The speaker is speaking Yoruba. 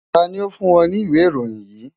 Ta ni ó fún ọ ní ìwé ìròyìn yìí?